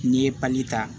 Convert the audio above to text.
N'i ye pali ta